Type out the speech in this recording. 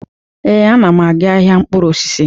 Ee, ana m aga ahịa mkpụrụ osisi.